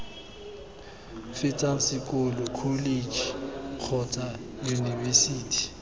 fetsang sekolo kholetšhe kgotsa yunibesithi